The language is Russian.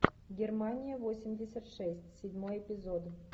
германия восемьдесят шесть седьмой эпизод